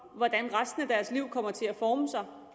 hvordan resten af deres liv kommer til at forme sig og